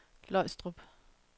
Løgstrup